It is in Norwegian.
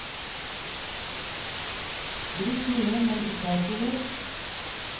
Drikk mye, men ikke alkohol.